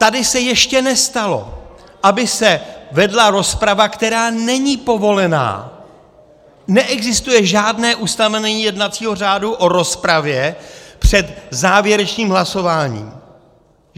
Tady se ještě nestalo, aby se vedla rozprava, která není povolená, neexistuje žádné ustanovení jednacího řádu o rozpravě před závěrečným hlasováním!